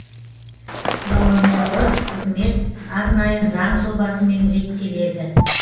волонтерлық қызмет арнайы заң жобасымен реттеледі